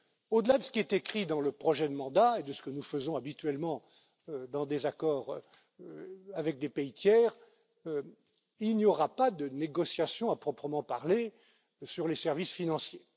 Au delà de ce qui est écrit dans le projet de mandat et de ce que nous faisons habituellement dans des accords avec des pays tiers, il n'y aura pas de négociations à proprement parler sur les services financiers.